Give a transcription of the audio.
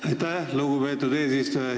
Aitäh, lugupeetud eesistuja!